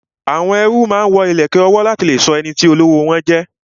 Àwọn ẹrú máa ń wo ìlẹ̀kẹ̀ ọwọ́ láti lè sọ ẹniti olówó wọn jẹ